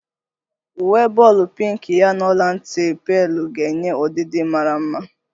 Uwe bọọlu pinki ya n'ọla nti pealu ga-enye ọdidi mara mma